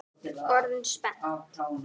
Orðin spennt?